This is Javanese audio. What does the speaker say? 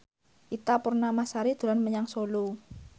Ita Purnamasari dolan menyang Solo